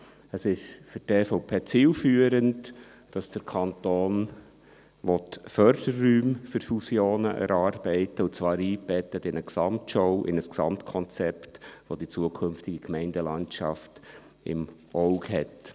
Für die EVP ist es zielführend, dass der Kanton Förderräume für Fusionen erarbeiten will, und zwar eingebettet in eine Gesamtschau, in ein Gesamtkonzept, das die zukünftige Gemeindelandschaft im Auge hat.